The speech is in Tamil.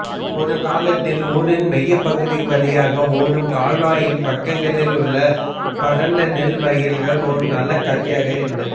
ஒருகாலத்தில் ஊரின் மையப்பகுதி வழியாக ஓடும் கால்வாயின் பக்கங்களில் உள்ள பரந்த நெல் வயல்கள் ஒரு நல்ல காட்சியாக இருந்தது